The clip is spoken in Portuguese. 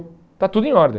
Está tudo em ordem.